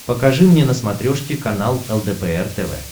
покажи мне на смотрешке канал лдпр тв